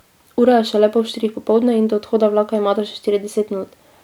Ura je šele pol štirih popoldne in do odhoda vlaka imata še štirideset minut.